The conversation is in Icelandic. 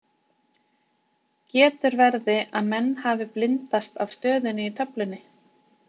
Getur verði að menn hafi blindast af stöðunni í töflunni?